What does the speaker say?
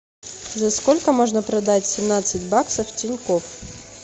за сколько можно продать семнадцать баксов в тинькофф